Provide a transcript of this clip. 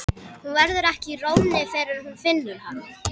Hún verður ekki í rónni fyrr en hún finnur hann.